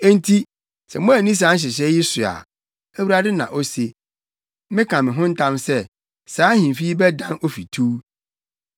Enti sɛ moanni saa nhyehyɛe yi so a, Awurade na ose, “Meka me ho ntam sɛ, saa ahemfi yi bɛdan ofituw.” ’”